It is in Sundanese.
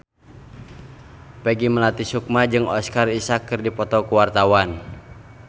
Peggy Melati Sukma jeung Oscar Isaac keur dipoto ku wartawan